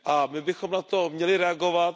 My bychom na to měli reagovat.